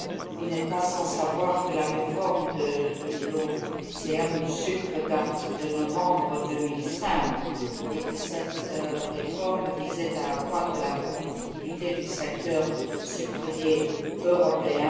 Vous n'êtes pas sans savoir que la réforme de l'OCM du sucre date de novembre 2005, et que cette réforme visait à accroître la compétitivité du secteur sucrier européen.